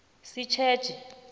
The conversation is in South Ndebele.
sitjetjhe